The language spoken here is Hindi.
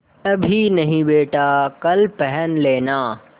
अभी नहीं बेटा कल पहन लेना